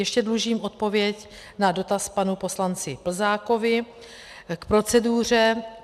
Ještě dlužím odpověď na dotaz panu poslanci Plzákovi k proceduře.